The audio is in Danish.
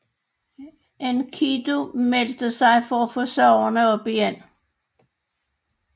Enkidu meldte sig for at få sagerne op igen